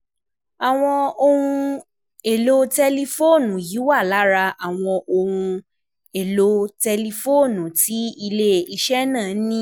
Àwọn ohun èlò tẹlifóònù yìí wà lára àwọn ohun èlò ìkànnì tẹlifóònù tí ilé-iṣẹ́ náà ní.